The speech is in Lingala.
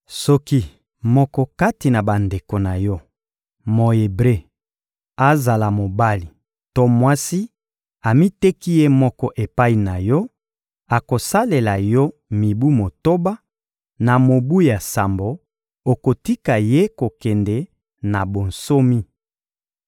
Soki moko kati na bandeko na yo, Mo-Ebre, azala mobali to mwasi, amiteki ye moko epai na yo, akosalela yo mibu motoba; na mobu ya sambo, okotika ye kokende na bonsomi.